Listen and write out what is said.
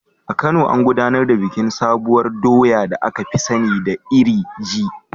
A Kano, an gudanar da bikin sabuwar doya da aka fi sani da iri ji.